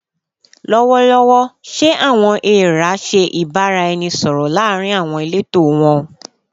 Lọwọlọwọ, ṣe "awọn eera" ṣe ibaraẹnisọrọ laarin awọn ileto wọn?